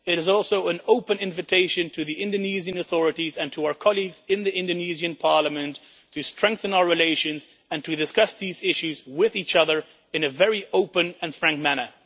it is also an open invitation to the Indonesian authorities and to our colleagues in the Indonesian Parliament to strengthen our relations and to discuss these issues with each other in a very open and frank manner.